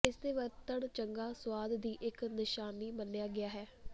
ਇਸ ਦੇ ਵਰਤਣ ਚੰਗਾ ਸੁਆਦ ਦੀ ਇੱਕ ਨਿਸ਼ਾਨੀ ਮੰਨਿਆ ਗਿਆ ਹੈ